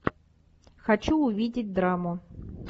хочу увидеть драму